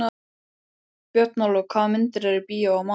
Björnólfur, hvaða myndir eru í bíó á mánudaginn?